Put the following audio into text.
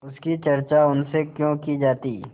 उसकी चर्चा उनसे क्यों की जाती